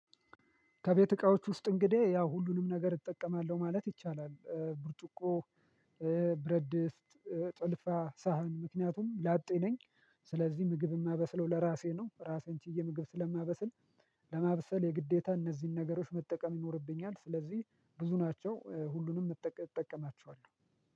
ከቤት እቃዎች ውስጥ እንግዲህ ያው ሁሉንም ነገር እጠቀማለሁ ማለት ይቻላል ብርጭቆ ብረድስት፣ ጭልፋ፣ ሳህን ምክንያቱም ላጤ ነኝ ስለዚህ ምግብ የማበስለው ለራሴ ነው ራሴን ችዬ ምግብ ስለማበስል ለማበሰል የግዴታ እነዚህን ነገሮች መጠቀም ይኖርብኛል ስለዚህ ብዙ ናቸው ሁሉንም እጠቀማቸዋለሁ።